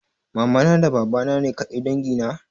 Mamana da babana ne ƙadai dangi na?